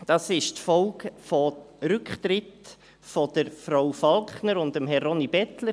Das ist die Folge von Rücktritten von Frau Falkner und Herrn Ronnie Bettler;